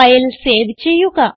file save ചെയ്യുക